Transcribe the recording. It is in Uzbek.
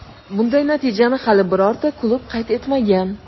Bunday natijani hali birorta klub qayd etmagan.